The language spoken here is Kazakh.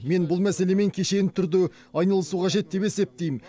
мен бұл мәселемен кешенді түрде айналысу қажет деп есептейм